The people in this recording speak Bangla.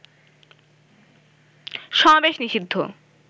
সমাবেশ নিষিদ্ধ